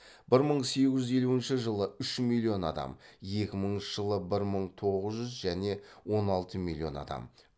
бір мың сегіз жүз елуінші жылы үш миллион адам екі мыңыншы жылы бір мың тоғыз жүз және он алты миллион адам